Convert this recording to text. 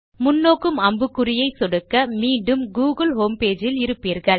முன்நோக்கும் அம்புக்குறியை சொடுக்க மீண்டும் கூகிள் ஹோம்பேஜ் இல் இருப்பீர்கள்